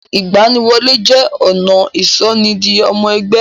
Ìgbaniwọlé jẹ́ ọ̀nà ìsọ ni di ọmọ ẹgbẹ́.